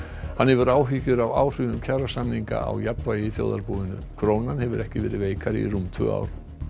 hann hefur áhyggjur af áhrifum kjarasamninga á jafnvægi í þjóðarbúinu krónan hefur ekki verið veikari í rúm tvö ár